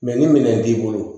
ni minɛn t'i bolo